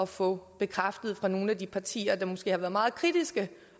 få bekræftet fra nogle af de partier der måske har været meget kritiske